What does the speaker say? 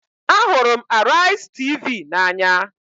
Ahụrụ m Araizi Tv n'anya